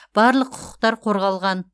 барлық құқықтар қорғалған